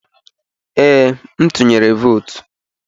Ee, m tuyere votu.